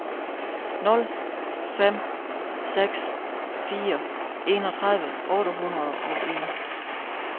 nul fem seks fire enogtredive otte hundrede og en